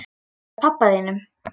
Með pabba þínum?